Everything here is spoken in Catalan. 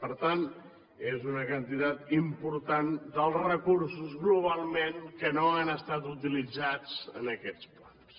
per tant és una quantitat important dels recursos globalment que no han estat utilitzats en aquests plans